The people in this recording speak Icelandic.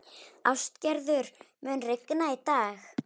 Ástgerður, mun rigna í dag?